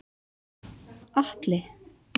Atli